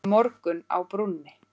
Morgunn á brúnni